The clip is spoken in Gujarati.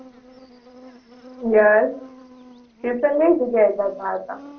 yes ટ્યુશન કઈ જગ્યા એ જાતાં હતાં?